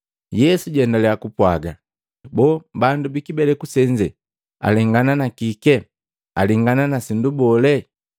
Yesu jaendaliya kupwaga, “Boo! Bandu bikibeleku senze alengana na kike? Alengana na sindu bole?